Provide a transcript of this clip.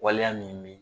Waleya min bɛ